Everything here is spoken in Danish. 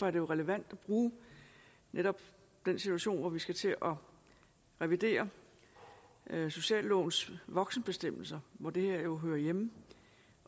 er det relevant at bruge netop den situation at vi skal til at revidere sociallovens voksenbestemmelser hvor det her jo hører hjemme